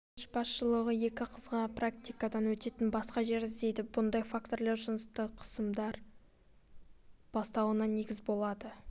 колледж басшылығы екі қызға практикадан өтетін басқа жер іздейді бұндай факторлар жыныстық қысымдардың бастауына негіз болады